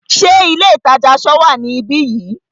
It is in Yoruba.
Ṣé ilé ìtajà aṣọ wá níbi yìí?